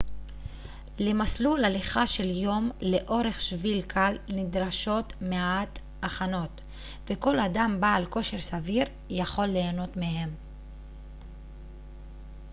למסלול הליכה של יום לאורך שביל קל נדרשות מעט הכנות וכל אדם בעל כושר סביר יכול ליהנות מהם